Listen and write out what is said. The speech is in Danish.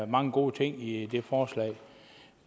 mange gode ting i forslaget